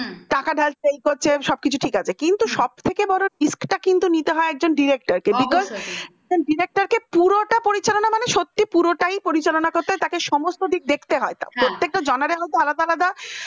টাকা ঢালছে এ করছে সব কিছু ঠিক আছে কিন্তু সবথেকে বড় risk কিন্তু নিতে হয় একজন director কে director কে পুরোটা পরিচালনা মানে সত্যিই পুরোটাই পরিচালনা করতে হয় তাকে সমস্ত দিক দেখতে হয় প্রত্যেকটা মধ্যে আলাদা আলাদা